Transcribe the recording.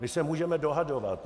My se můžeme dohadovat.